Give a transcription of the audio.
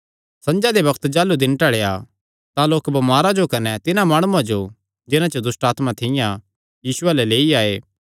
संझा दे बग्त जाह़लू दिन ढल़िया तां लोक बमारां जो कने तिन्हां माणुआं जो जिन्हां च दुष्टआत्मां थियां यीशुये अल्ल लेई आये